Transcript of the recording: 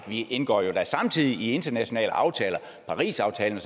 vi indgår da samtidig i internationale aftaler parisaftalen